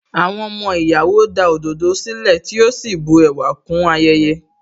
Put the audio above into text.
Àwọn ọmọ ìyàwó da òdòdó sílẹ̀, tí ó sì bu ẹwà kún ayẹyẹ.